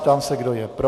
Ptám se, kdo je pro.